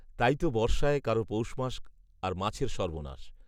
তাই তো বর্ষায় কারও পৌষ মাস, আর মাছের সর্বনাশ